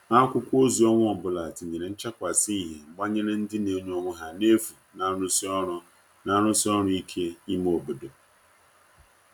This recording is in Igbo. akwụkwo ozi onwa ọbụla tinyere nchakwasi ihie gbanyere ndi n'enye onwe ha n'efu n'arusi ọru n'arusi ọru ike ime obodo